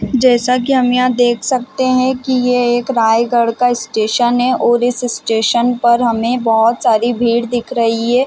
जैसा कि हम यहाँ देख सकते है कि ये एक रायगढ़ का स्टेशन है और इस स्टेशन पर हमें बहुत सारी भीड़ दिख रही हैं ।